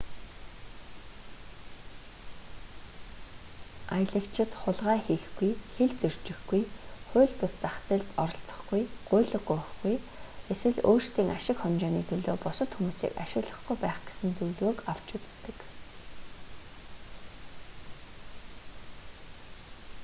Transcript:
аялагчид хулгай хийхгүй хил зөрчихгүй хууль бус зах зээлд оролцохгүй гуйлга гуйхгүй эсвэл өөрсдийн ашиг хонжооны төлөө бусад хүмүүсийг ашиглахгүй байх гэсэн зөвлөгөөг авч үздэг